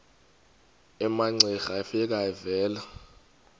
umamcira efika evela